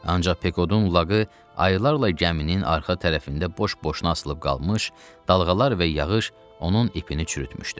Ancaq Pekodun laqı, illərlə gəminin arxa tərəfində boş-boşuna asılıb qalmış, dalğalar və yağış onun ipini çürütmüşdü.